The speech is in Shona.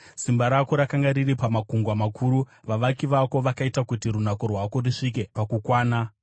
Simba rako rakanga riri pamakungwa makuru; vavaki vako vakaita kuti runako rwako rusvike pakukwana.